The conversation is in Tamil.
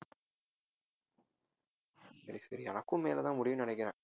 சரி சரி எனக்கும் மே ல தான் முடியும்னு நினைக்கிறன்